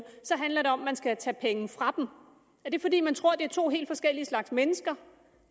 handler det om at man skal tage penge fra dem er det fordi man tror at det er to helt forskellige slags mennesker